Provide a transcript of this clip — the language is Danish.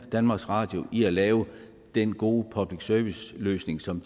danmarks radio i at lave den gode public service løsning som